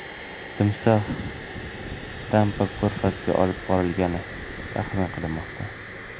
Timsoh Tampa ko‘rfaziga olib borilgani taxmin qilinmoqda.